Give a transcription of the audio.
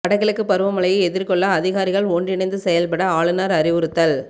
வட கிழக்கு பருவ மழையை எதிா்கொள்ள அதிகாரிகள் ஒன்றிணைத்து செயல்பட ஆளுநா் அறிவுறுத்தல்